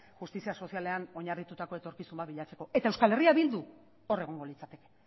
justizia sozialean oinarritutako etorkizun bat bilatzeko eta eh bildu hor egongo litzateke